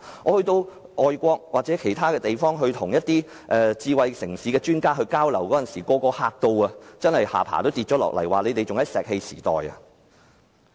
我到外國與一些智慧城市的專家交流時，他們驚訝得下巴也掉下來，指我們仍停留在石器時代。